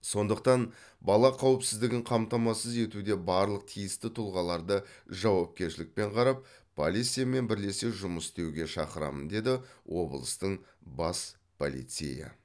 сондықтан бала қауіпсіздігін қамтамасыз етуде барлық тиісті тұлғаларды жауапкершілікпен қарап полициямен бірлесе жұмыс істеуге шақырамын деді облыстың бас полицейі